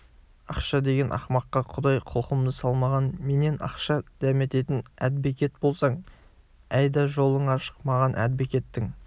ақша деген ақымаққа құдай құлқымды салмаған менен ақша дәмететін әдбекет болсаң әйда жолың ашық маған әдбекеттің